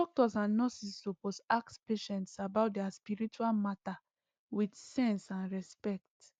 doctors and nurses suppose ask patients about their spiritual matter with sense and respect